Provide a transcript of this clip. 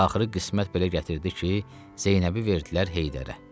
Axırı qismət belə gətirdi ki, Zeynəbi verdilər Heydərə.